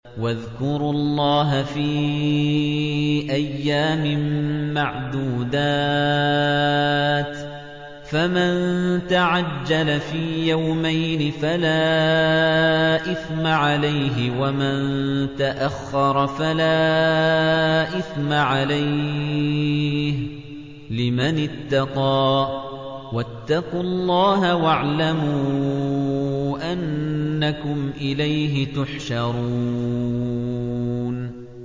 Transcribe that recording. ۞ وَاذْكُرُوا اللَّهَ فِي أَيَّامٍ مَّعْدُودَاتٍ ۚ فَمَن تَعَجَّلَ فِي يَوْمَيْنِ فَلَا إِثْمَ عَلَيْهِ وَمَن تَأَخَّرَ فَلَا إِثْمَ عَلَيْهِ ۚ لِمَنِ اتَّقَىٰ ۗ وَاتَّقُوا اللَّهَ وَاعْلَمُوا أَنَّكُمْ إِلَيْهِ تُحْشَرُونَ